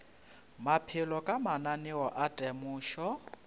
maphelo ka mananeo a temošo